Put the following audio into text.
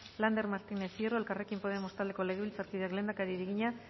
lander martínez hierro elkarrekin podemos taldeko legebiltzarkideak lehendakariari egina